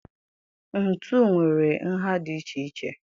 Ntu nwere nha dị iche iche.